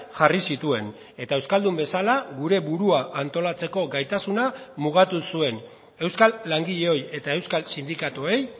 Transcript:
jarri zituen eta euskaldun bezala gure burua antolatzeko gaitasuna mugatu zuen euskal langileoi eta euskal sindikatuei